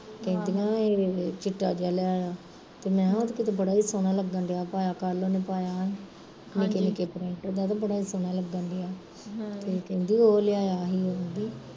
ਕਹਿੰਦੀਆ ਏਹ ਚਿੱਟਾ ਜਿਹਾ ਲੈ ਆਇਆ ਤੇ ਮੈਂ ਕਿਹਾ ਉਹ ਤੇ ਉਹਨੂੰ ਬੜਾ ਈ ਸੋਹਣਾ ਲੱਗਣ ਡਿਆ ਉਹਨੂੰ ਪਾਇਆ, ਕੱਲ ਉਹਨੇ ਪਾਇਆ ਸੀ, ਨਿਕੇ ਨਿਕੇ print ਦਾ ਤੇ ਬੜਾ ਈ ਸੋਹਣਾ ਲੱਗਣ ਡਿਆ ਸੀ ਤੇ ਕਹਿੰਦੀ ਓਹ ਲਿਆਇਆ ਸੀ